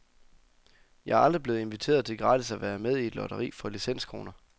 Jeg er aldrig blevet inviteret til gratis at være med i et lotteri for licenskroner.